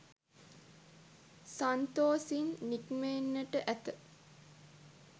සන්තොසින් නික්මෙන්නට ඇත.